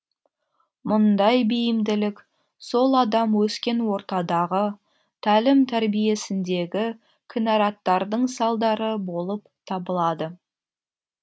мұндай бейімділік сол адам өскен ортадағы тәлім тәрбиесіндегі кінәраттардың салдары болып табылады